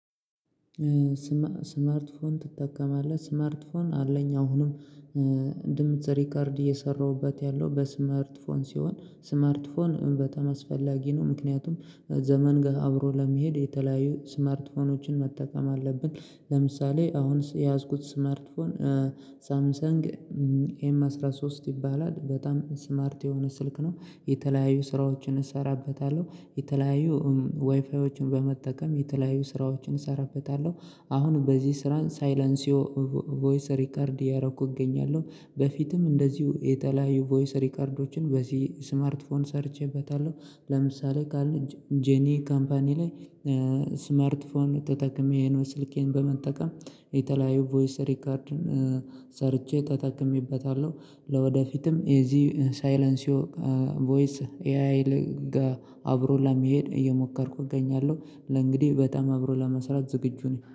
ስማርት ስማርት ትጠቀማለህ ስማርት ስማርት አለኝ አሁንም እንደምትሰሪ ካርድ እየሰራሁበት ያለው በስማርት ፎን ሲሆን ስማርት ፎን በተመስፈላጊ ነው። ምክንያቱም ዘመን ጋር አብሮ ለመሄድ የተለያዩ ስማርት ፎኖችን መጠቀም አለብን። ለምሳሌ አሁንስ የያዝኩት ስማርትፎን ሳምሰንግ ኤም አስራ ሶስት ይባላል። በጣም ስማርት የሆነ ስልክ ነው። የተለያዩ ስራዎችን እሰራበታለሁ የተለያዩ ዋይፋዎችን በመጠቀም የተለያዩ ስራዎችን እሰራበታለሁ። አሁን በዚህ ስራን ሳይላንሲዮ ቮይስ ሪከርድ ያረኩ እገኛለሁ። በፊትም እንደዚሁ የተለያዩ ቮይስ ሪከርዶችን በዚህ ስማርት ፎን ሰርቼበታለሁ። ለምሳሌ ካለ ጄኒ ካምፓኒ ላይ ስማርት ፎን ተጠቅሜ ነው። ስልኬን በመጠቀም የተለያዩ ቮይስ ሪከርድን ሰርቼ ተጠቅሜበታለሁ። ለወደፊትም እዚህ ሳይለንሲዮ ቮይስ ኤአይ ኤአይል አብሮ ለመሄድ እየሞከርኩ እገኛለሁ ለእንግዲህ በጣም አብሮ ለመስራት ዝግጁ ነኝ